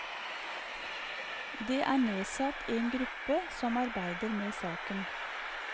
Det er nedsatt en gruppe som arbeider med saken.